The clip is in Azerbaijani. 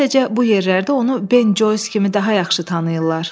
Sadəcə bu yerlərdə onu Ben Joys kimi daha yaxşı tanıyırlar.”